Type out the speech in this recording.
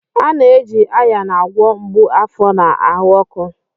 A na-eji Ayan agwọ mgbu afọ na ahụ ọkụ.